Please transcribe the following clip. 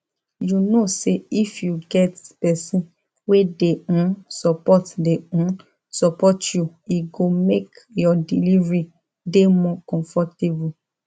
u know say if you get person wey de um support de um support you e go make your delivery de more comfortable